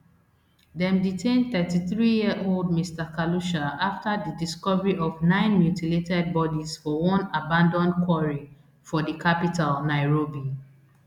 dem detain thirty-threeyearold mr khalusha afta di discovery of nine mutilated bodies for one abanAcceptedd quarry for di capital nairobi